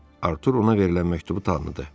Artur ona verilən məktubu tanıdı.